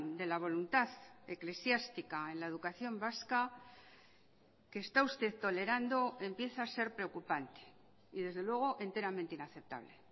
de la voluntad eclesiástica en la educación vasca que está usted tolerando empieza a ser preocupante y desde luego enteramente inaceptable